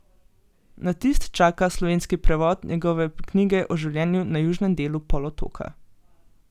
Na tisk čaka slovenski prevod njegove knjige o življenju na južnem delu polotoka.